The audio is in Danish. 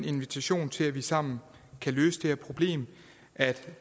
invitationen til at vi sammen kan løse det her problem at